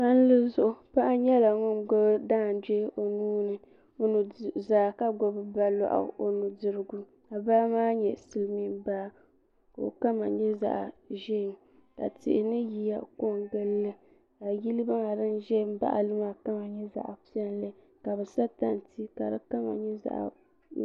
Palli zuɣu paɣa nyɛla ŋun gbubi daangbee o nuu ni o nuzaa ka gbubi baa lɔɣu o nudirigu ka baa maa nyɛ silmiin baa ka o kama nyɛ zaɣa ʒee ka tihi ni yiya ko n gili li ka yili maa din ʒɛ n baɣa li maa nyɛ zaɣa piɛlli ka bi sa tanti ka di kama nyɛ zaɣa.